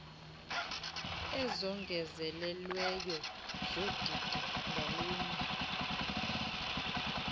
ezongezelelweyo zodidi ngalunye